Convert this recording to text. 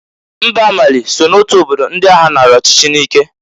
Mba Mali so n'otu obodo ndị agha naara ọchịchị n'ike.